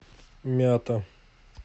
мята